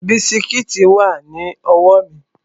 Bisikíìtì wà ní ọwọ́ mi